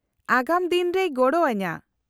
-ᱟᱜᱟᱢ ᱫᱤᱱ ᱨᱮᱭ ᱜᱚᱲᱚ ᱟᱹᱧᱟᱹ ᱾